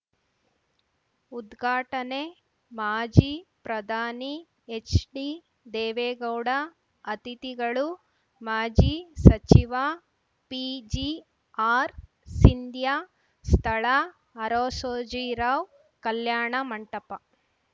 ಉದ್ಘಾಟನೆ ಮಾಜಿ ಪ್ರಧಾನಿ ಎಚ್‌ಡಿದೇವೇಗೌಡ ಅತಿಥಿಗಳು ಮಾಜಿ ಸಚಿವ ಪಿಜಿಆರ್‌ಸಿಂಧ್ಯಾ ಸ್ಥಳ ಅರಸೋಜಿರಾವ್‌ ಕಲ್ಯಾಣ ಮಂಟಪ